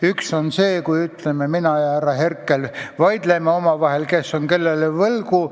Üks on see, kui ütleme, et mina ja härra Herkel vaidleme omavahel, kes on kellele võlgu.